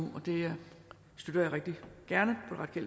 og det støtter jeg rigtig gerne på det